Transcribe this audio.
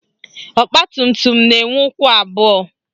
Ọgbatumtum na-enwe ụkwụ abụọ